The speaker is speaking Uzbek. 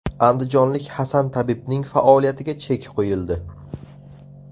Andijonlik Hasan tabibning faoliyatiga chek qo‘yildi.